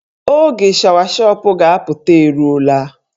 Oge shawashọp ga-apụta eruola.